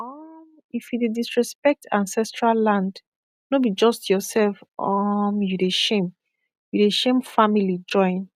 um if you dey disrespect ancestral land no be just yourself um you dey shame you dey shame family join